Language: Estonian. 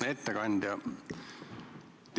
Hea ettekandja!